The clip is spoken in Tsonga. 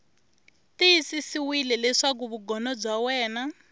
tiyisisiwile leswaku vugono bya wena